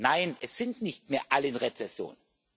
sind. Nein, es sind nicht mehr alle in Rezession.